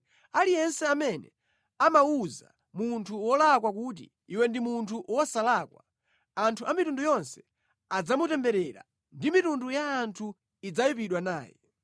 Aliyense amene amawuza munthu wolakwa kuti, “Iwe ndi munthu wosalakwa,” anthu a mitundu yonse adzamutemberera, ndi mitundu ya anthu idzayipidwa naye.